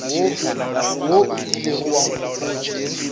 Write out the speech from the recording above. wo o ilego wa nkgopotša